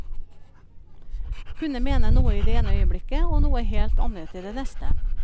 Kunne mene noe i det ene øyeblikket og noe helt annet i det neste.